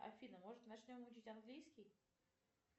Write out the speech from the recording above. афина может начнем учить английский